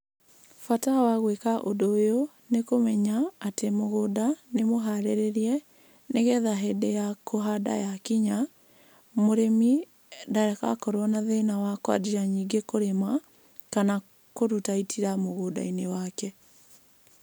Bata wa gwĩka ũndũ ũyũ nĩ kũmenya atĩ mũgũnda nĩ mũharĩrĩrie, nĩgetha hĩndĩ ya kũhanda ya kinya, mũrĩmĩ ndagakorwo na thĩna wa kwanjia ningĩ kũrĩma kana kũruta itira mũgũnda-inĩ wake.